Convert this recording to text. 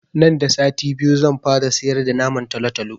Nan da sati biyu zan fara siyar da naman talatalo